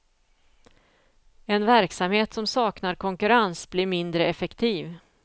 En verksamhet som saknar konkurrens blir mindre effektiv.